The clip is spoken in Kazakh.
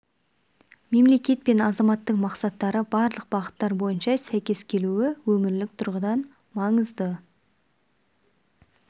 мемлекет пен азаматтың мақсаттары барлық бағыттар бойынша сәйкес келуі өмірлік тұрғыдан маңызды